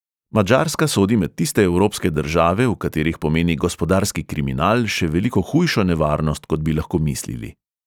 Madžarska sodi med tiste evropske države, v katerih pomeni gospodarski kriminal še veliko hujšo nevarnost, kot bi lahko mislili.